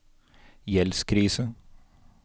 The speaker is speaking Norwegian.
gjeldskrise